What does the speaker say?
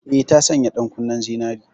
Eh, ta sanya ɗankunnen zinare.